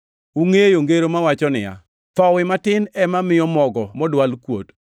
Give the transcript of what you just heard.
Ungʼeyo ngero mawacho niya, “Thowi matin ema miyo mogo modwal kuot.”